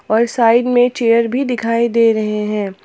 और साइड में चेयर भी दिखाई दे रहे है।